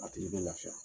A tigi bɛ lafiya